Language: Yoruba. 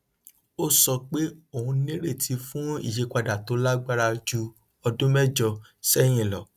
ó sọ pé ó nírètí fún ìyípadà tó lágbára ju ọdún mẹjọ sẹhìn lọ